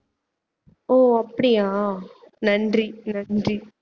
ஓ அப்படியா நன்றி நன்றி